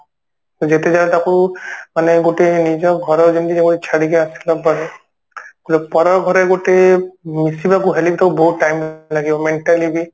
ଯେତେ ଯାହା ହେଲେ ତାକୁ ମାନେ ଗୋଟେ ନିଜ ଘର ଯେମିତି ଜଣେ ଯେମିତି ଛାଡିକି ଆସି ନପାରେ ପରଘରେ ଗୋଟେ ମିଶିବାକୁ ହେଲେ ବିତ ବହୁତ time ଲାଗିବ mentally ବି